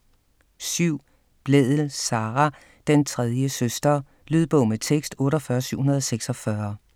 7. Blædel, Sara: Den tredje søster Lydbog med tekst 48746